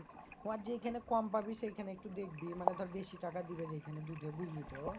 ওর যেইখানে কম পাবি সেইখানে একটু দেখবি মানে ধর বেশি টাকা দিবে যেখানে দুধে বুঝলি তো?